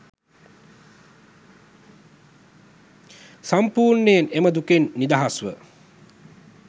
සම්පූර්ණයෙන් එම දුකෙන් නිදහස්ව